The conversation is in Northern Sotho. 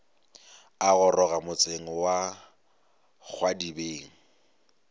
a goroga motseng wa kgwadibeng